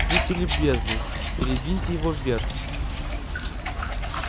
будьте любезны передвиньте его вверх